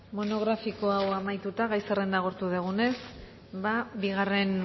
monografiko hau amaituta gai zerrenda agortu dugunez bigarren